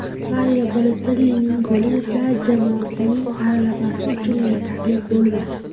Mario Balotellining goli esa jamoasining g‘alabasi uchun yetarli bo‘lmadi.